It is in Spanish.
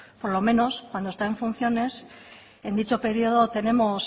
por lo menos cuando está en funciones en dicho periodo tenemos